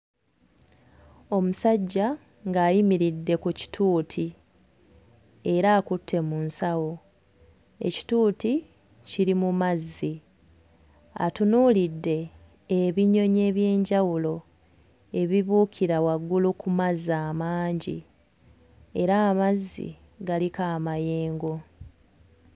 Omusajja ng'ayimiridde ku kittuuti era akutte mu nsawo. Ekittuuti kiri mu mazzi, atunuulidde ebinyonyi eby'enjawulo ebibuukira waggulu ku mazzi amangi era amazzi galiko amayengo.